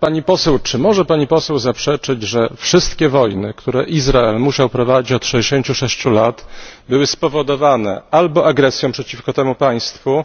Pani Poseł, czy może Pani Poseł zaprzeczyć, że wszystkie wojny, które Izrael musiał prowadzić od 66 lat, były spowodowane albo agresją przeciwko temu państwu,